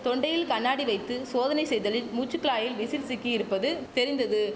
தொண்டையில் கண்ணாடி வைத்து சோதனை செய்தலில் மூச்சு குழாயில் விசில் சிக்கி இருப்பது தெரிந்தது